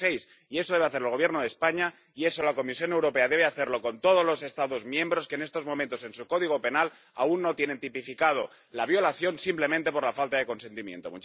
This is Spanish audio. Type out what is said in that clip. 36. Y eso debe hacer el Gobierno de España, y eso la Comisión Europea debe hacerlo con todos los Estados miembros que en estos momentos en su código penal aún no tienen tipificada la violación simplemente por la falta de consentimiento.